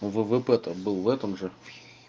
ввп то был в этом же